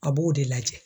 A b'o de lajɛ